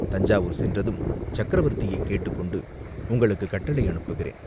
தஞ்சாவூர் சென்றதும் சக்கரவர்த்தியைக் கேட்டுக் கொண்டு உங்களுக்குக் கட்டளை அனுப்புகிறேன்.